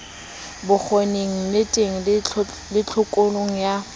bokgoning nneteng le tlhokong ya